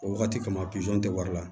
O wagati kama tɛ wari la